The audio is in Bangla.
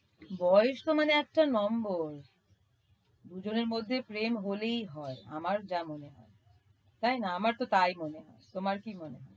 বয়স তো মানে একটা number দুজনের মধ্যে একটা প্রেম হলেই হয় আমার যা মনে হয়। তাই না আমার তো তাই মনে হয়। তোমার কি মনে হয়?